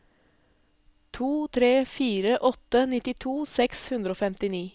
to tre fire åtte nittito seks hundre og femtini